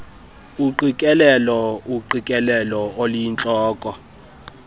uqikelelo uqikelelo oluyintloko